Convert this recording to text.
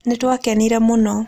Nĩ twakenire mũno.